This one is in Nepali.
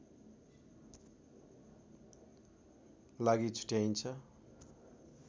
लागि छुट्याइन्छ